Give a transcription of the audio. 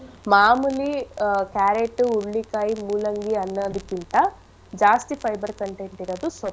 ಮಾಮೂಲಿ carrot ಉ ಹುರಳಿಕಾಯಿ ಮೂಲಂಗಿ ಅನ್ನೋದಿಕ್ಕಿಂತ ಜಾಸ್ತಿ fiber content ಇರದು.